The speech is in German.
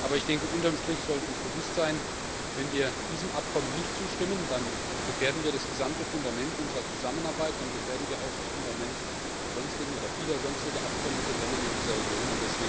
Aber unter dem Strich sollte uns bewusst sein, wenn wir diesem Abkommen nicht zustimmen, dann gefährden wir das gesamte Fundament unserer Zusammenarbeit, dann gefährden wir auch das Fundament vieler sonstiger Abkommen mit den Ländern in dieser Region.